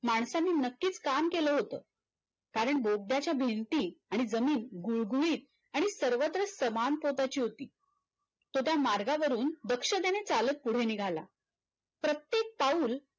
माणसांनी नक्कीच काम केल होत कारण बोगद्याच्या भिंती आणि जमीन गुळगुळीत आणि सर्वत्र समान प्रकारची होती तो त्या मार्गावरुन दक्षतेने चालत पुढे निघाला प्रत्येक पाऊल